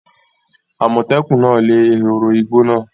Àmọ̀tẹ́kùn náà lé ehoro igbó náà.